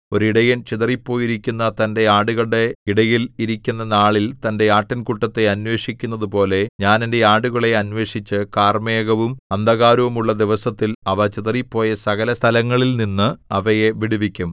ഒരു ഇടയൻ ചിതറിപ്പോയിരിക്കുന്ന തന്റെ ആടുകളുടെ ഇടയിൽ ഇരിക്കുന്ന നാളിൽ തന്റെ ആട്ടിൻകൂട്ടത്തെ അന്വേഷിക്കുന്നതുപോലെ ഞാൻ എന്റെ ആടുകളെ അന്വേഷിച്ച് കാർമേഘവും അന്ധകാരവുമുള്ള ദിവസത്തിൽ അവ ചിതറിപ്പോയ സകലസ്ഥലങ്ങളിലുംനിന്ന് അവയെ വിടുവിക്കും